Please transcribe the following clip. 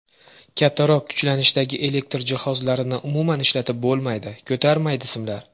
Kattaroq kuchlanishdagi elektr jihozlarini umuman ishlatib bo‘lmaydi, ko‘tarmaydi simlar.